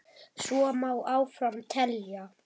Svo má áfram telja.